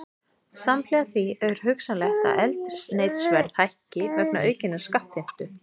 Samhliða því er hugsanlegt að eldsneytisverð hækki vegna aukinnar skattheimtu.